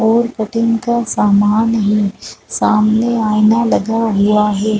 और का सामान भी सामने आईना लगा दिया हैं ।